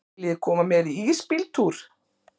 Viljiði koma með í ísbíltúr?